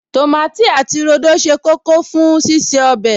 Tòmátì àti rodo ṣe kókó fún ṣíṣe ọbẹ̀